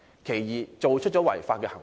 第二，他們作出了違法行為。